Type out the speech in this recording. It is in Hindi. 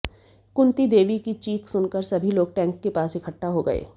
कुंती देवी की चीख सुनकर सभी लोग टैंक के पास इकट्ठा हो गए